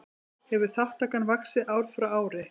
Hefur þátttakan vaxið ár frá ári